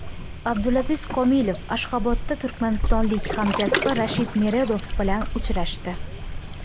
Abdulaziz Komilov Ashxabodda turkmanistonlik hamkasbi Rashid Meredov bilan uchrashdi.